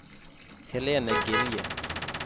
Helene Gilje